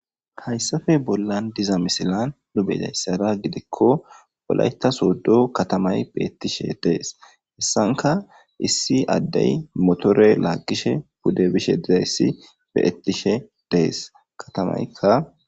Hayssappe bollan dizza missillezan nu be'izayssa giddiko wollayita sodo katamayi betteshe deesi hayssankka issi addeyi mottore laggishshe pudde bishshe dizayissi be'etishe deesi katamayika.